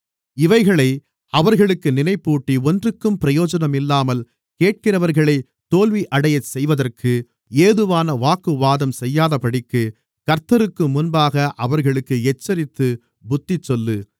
இவைகளை அவர்களுக்கு நினைப்பூட்டி ஒன்றுக்கும் பிரயோஜனமில்லாமல் கேட்கிறவர்களைக் தோல்வியடையச் செய்வதற்கு ஏதுவான வாக்குவாதம் செய்யாதபடிக்கு கர்த்தருக்கு முன்பாக அவர்களுக்கு எச்சரித்துப் புத்திசொல்லு